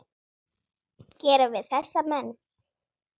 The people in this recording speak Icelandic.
gera við þessa menn?